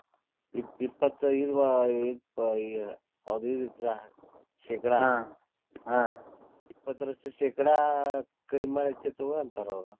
ಇಪ್ಪ್~ ಇಪ್ಪತೈದು ಆ ಅದು ಇದು ಇತ್ರ ಶೇಕಡಾ ಇಪ್ಪತ್ತರಷ್ಟು ಶೇಕಡಾ ಕಡಿಮಿ ಮಾಡೇತಿ ತೊಗೋ ಅಂತಾರ್ ಅವ್ರ್.